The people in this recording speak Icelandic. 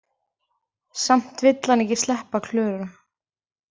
Samt vill hann ekki sleppa Klöru.